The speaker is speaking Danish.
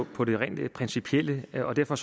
på det rent principielle plan og derfor